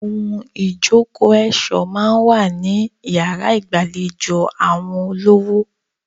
Ohun ìjókòó ẹ̀ṣọ́ a máa wà ní yàrá ìgbàlejò àwọn olówó.